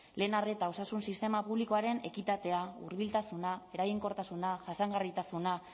lehen arreta osasun sistema publikoaren ekitatea hurbiltasuna eraginkortasuna jasangarritasuna